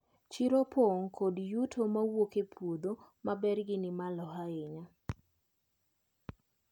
Chiro opong` kod yuto mowuok e puodho ma bergi ni malo ahinya.